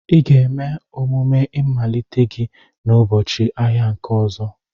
Ị ga-eme omume mmalite gị n'ụbọchị ahịa nke ọzọ.